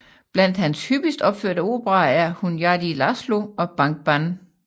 Blandt hans hyppigst opførte operaer er Hunyadi László og Bánk bán